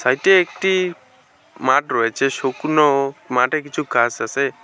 এটি একটি মাঠ রয়েছে শুকনো মাঠে কিছু ঘাস আসে ।